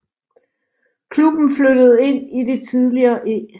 Klubben flyttede ind i det tidligere E